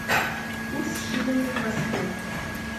курс шиллинга в москве